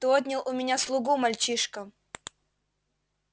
ты отнял у меня слугу мальчишка